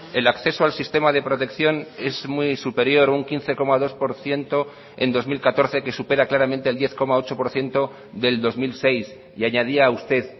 el acceso al sistema de protección es muy superior un quince coma dos por ciento en dos mil catorce que supera claramente el diez coma ocho por ciento del dos mil seis y añadía usted